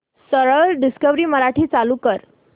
सरळ डिस्कवरी मराठी चालू कर